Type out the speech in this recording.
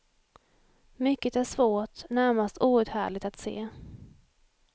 Mycket är svårt, närmast outhärdligt att se.